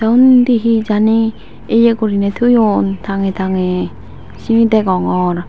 unne he jani eya gorine toyoun tangge tangge ciani degogor.